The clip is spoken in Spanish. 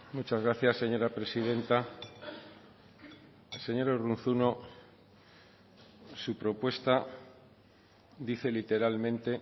muchas gracias señora presidenta señor urruzuno su propuesta dice literalmente